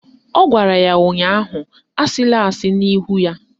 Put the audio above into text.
Ọ gwara ya ụnyaahụ "Asịla asị n'ihu ya"!